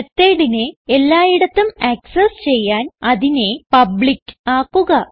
methodനെ എല്ലായിടത്തും ആക്സസ് ചെയ്യാൻ അതിനെ പബ്ലിക്ക് ആക്കുക